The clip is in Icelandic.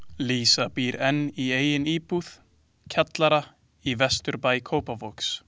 Lísa býr enn í eigin íbúð, kjallara í vesturbæ Kópavogs.